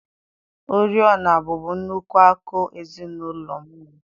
Oriọna bụbu nnukwu akụ ezinụlọ m nwere